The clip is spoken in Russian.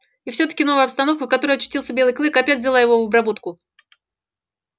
и всё-таки новая обстановка в которой очутился белый клык опять взяла его в обработку